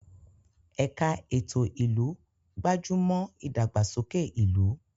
Ẹ̀ka ètò ìlú gbájú mọ́ ìdàgbàsókè ìlú.